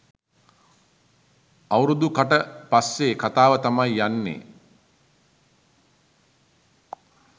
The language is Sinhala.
අවුරුදු කට පස්සේ කතාව තමයි යන්නේ